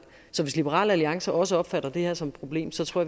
hvis liberal alliance også opfatter det her som et problem så tror